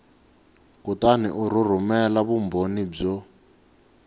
kutani u rhumela vumbhoni byo